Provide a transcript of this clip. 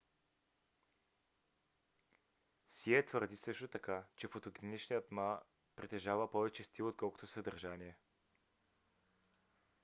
сие твърди също така че фотогеничният ма притежава повече стил отколкото съдържание